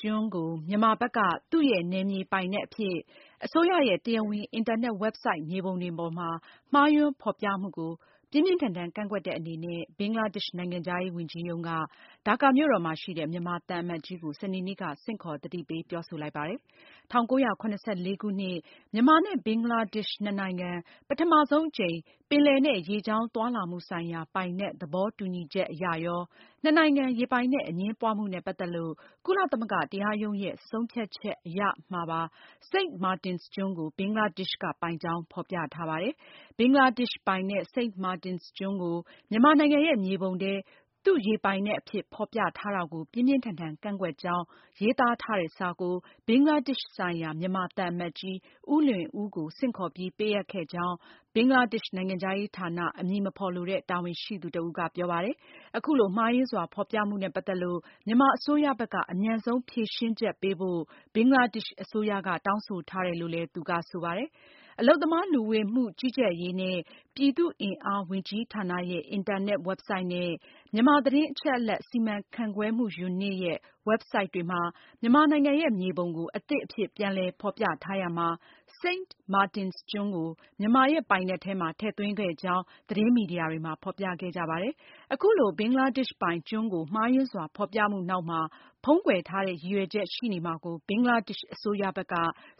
ကျွန်းကို မြန်မာဘက်က သူ့ရဲ့နယ်မြေပိုင်နက်အဖြစ် အစိုးရရဲ့တရားဝင် အင်တာ နက် ဝက်ဘ်ဆိုဒ် မြေပုံတွေပေါ်မှာ မှားယွင်းဖေါ်ပြမှုကို ဘင်္ဂလားဒေ့ရှ်အစိုးရက ပြင်းပြင်းထန်ထန် ကန့်ကွက်တဲ့ အနေနဲ့ ဒါကာမြို့တော်မှာရှိတဲ့ မြန်မာသံအမတ်ကြီးကို စနေနေ့က ဆင့်ခေါ် သတိပေးပြောဆိုလိုက်ပါတယ်။ ၁၉၇၄ ခုနှစ် မြန်မာနဲ့ဘင်္ဂလားဒေ့ရှ်နှစ်နိုင်ငံ ပထမဆုံးအကြိမ် ပင်လယ်နဲ့ ရေကြောင်းသွားလာမှု ဆိုင်ရာ ပိုင်နက် သဘောတူညီချက်မှာရော၊ နှစ်နိုင်ငံ ရေပိုင်နက်အငြင်းပွားမှုနဲ့ပတ်သက်လို့ ကုလသမဂ္ဂ တရားရုံးရဲ့ ဆုံးဖြတ်ချက် အရရော Saint Martin’s ကျွန်းကို ဘင်္ဂလားဒေ့ရှ်က ပိုင်ကြောင်း ဖေါ်ပြထားတာပါ။ ဘင်္ဂလားဒေ့ရှ်ပိုင်တဲ့ St Martin’s ကျွန်းကို မြန်မာနိုင်ငံရဲ့မြေပုံထဲ သူ့ရေပိုင်နက်အဖြစ် ဖေါ်ပြထား တာကို ပြင်းပြင်းထန်ထန်ကန့်ကွက်ကြောင်း ရေးသားထားတဲ့စာကို ဘင်္ဂလားဒေ့ရှ်ဆိုင်ရာ မြန်မာသံ အမတ်ကြီး ဦးလွင်ဦးကိုဆင့်ခေါ်ပြီး ပေးအပ်ခဲ့ကြောင်း ဘင်္ဂလားဒေ့ရှ် နိုင်ငံခြားရေးဌာန အမည်မဖေါ် လိုတဲ့ တာဝန်ရှိသူ တဦးက ပြောပါတယ်။ အခုလို မှားယွင်းစွာဖေါ်ပြမှုနဲ့ပတ်သက်လို့ မြန်မာအစိုးရ ဘက်က အမြန်ဆုံးဖြေရှင်းချက် ပေးဖို့ ဘင်္ဂလားဒေ့ရှ်အစိုးရ တောင်းဆိုထားတယ်လို့လည်း သူကဆိုပါတယ်။ အလုပ်သမား လူဝင်မှုကြီးကြပ်ရေးနှင့် ပြည်သူ့အင်အားဝန်ကြီးဌာနရဲ့ အင်တာနက်ဝက်ဘ်ဆိုဒ် dop.gov.mm နဲ့ မြန်မာသတင်းအချက်အလက် စီမံခန့်ခွဲမှုယူနစ် (MIMU) ရဲ့ ဝက်ဘ်ဆိုဒ် themimu.info တွေမှာ မြန်မာ နိုင်ငံရဲ့မြေပုံကို အသစ်အဖြစ်ပြန်လည် ဖေါ်ပြထားရာမှာ St. Marin’s ကျွန်း ကို မြန်မာရဲ့ပိုင်နက်ထဲမှာ ထည့်သွင်းခဲ့ကြောင်း သတင်းမီဒီယာတွေမှာ ဖေါ်ပြခဲ့ကြပါတယ်။ အခုလို ဘင်္ဂလားဒေ့ရှ်ပိုင်ကျွန်းကို မှားယွင်းစွာ ဖေါ်ပြမှုနောက်မှာ ဖုံးကွယ်ထားတဲ့ ရည်ရွယ်ချက် ရှိနေမှာကို ဘင်္ဂလားဒေ့ရှ်အစိုးရဘက်က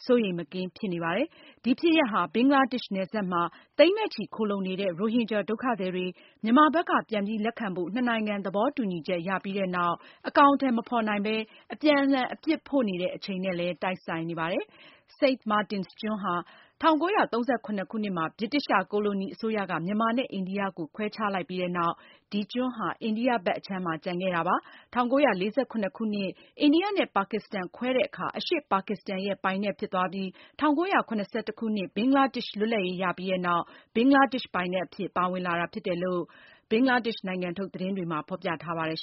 စိုးရိမ်မကင်း ဖြစ်နေပါတယ်။ ဒီဖြစ်ရပ်ဟာ ဘင်္ဂလားဒေ့ရှ်နယ်စပ်မှာ သိန်းနဲ့ချီ ခိုလှုံနေတဲ့ ရိုဟင်ဂျာဒုက္ခသည်တွေ မြန်မာဘက်က ပြန်ပြီး လက်ခံဖို့ နှစ်နိုင်ငံ သဘောတူညီချက်ရပြီးနောက် အကောင်အထည်မဖေါ်နိုင်ဘဲ အပြန် အလှန် အပြစ်ဖို့နေတဲ့ အချိန်နဲ့လည်း တိုက်ဆိုင်နေပါတယ်။ Saint Martin’s ကျွန်းဟာ ၁၉၃၇ နှစ်မှာ ဗြိတိသျှကိုလိုနီအစိုးရက မြန်မာနဲ့အိန္ဒိယကို ခွဲခြားလိုက်ပြီးနောက် ဒီကျွန်းဟာ အိန္ဒိယဘက်အခြမ်းမှာ ကျန်ခဲ့တာဖြစ်ပါတယ်။ ၁၉၄၇ ခုနှစ် အိန္ဒိယနဲ့ ပါကစ္စတန်ခွဲတဲ့အခါ အရှေ့ ပါကစ္စတန်ရဲ့ ပိုင်နက်ဖြစ်သွားပြီး ၁၉၇၁ ခုနှစ် ဘင်္ဂလားဒေ့ရှ်လွတ်လပ်ရေးရပြီးနောက် ဘင်္ဂလားဒေ့ရှ် ပိုင်နက် အဖြစ် ပါဝင်လာတာဖြစ်တယ်လို့ ဘင်္ဂလားဒေ့ရှ်နိုင်ငံထုတ် သတင်းတွေမှာ ဖေါ်ပြထားပါတယ်